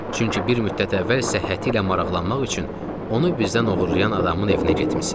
Çünki bir müddət əvvəl isə səhhəti ilə maraqlanmaq üçün onu bizdən oğurlayan adamın evinə getmisiniz.